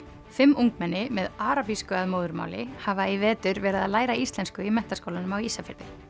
fimm ungmenni með arabísku að móðurmáli hafa í vetur verið að læra íslensku í Menntaskólanum á Ísafirði